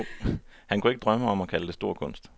Han kunne ikke drømme om at kalde det stor kunst.